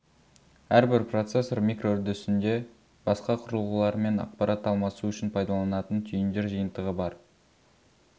әрбір процессор микроүрдісінде басқа құрылғылармен ақпарат алмасу үшін пайдаланатын түйіндер жиынтығы бар